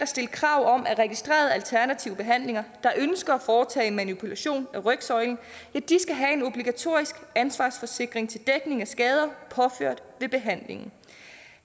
stille krav om at registrerede alternative behandlere der ønsker at foretage en manipulation af rygsøjlen skal have en obligatorisk ansvarsforsikring til dækning af skader påført ved behandlingen